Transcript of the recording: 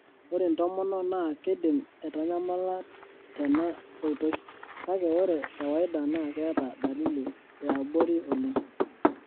Ore intomonok naa keidim aatanyamala tena ooitoi, kake ore kawaida naa keeta dalili eabori oleng.